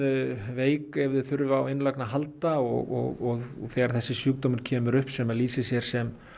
veik ef þau þurfa á innlögn að halda og þegar þessi sjúkdómur kemur upp sem lýsir sér sem